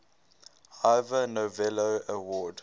ivor novello award